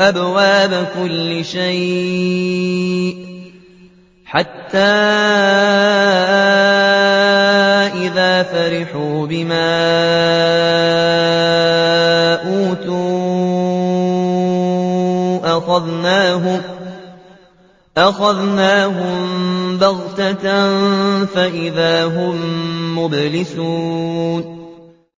أَبْوَابَ كُلِّ شَيْءٍ حَتَّىٰ إِذَا فَرِحُوا بِمَا أُوتُوا أَخَذْنَاهُم بَغْتَةً فَإِذَا هُم مُّبْلِسُونَ